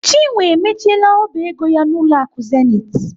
Chinwe emechiela ọba ego ya n'ụlọ akụ Zenith.